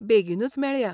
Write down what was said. बेगीनूच मेळया!